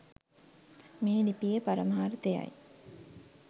මේ ලිපියේ පරමාර්ථයයි.